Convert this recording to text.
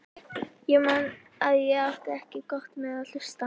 Ég man að ég átti ekki gott með að hlusta.